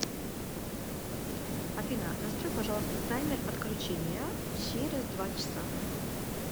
афина настрой пожалуйста таймер отключения через два часа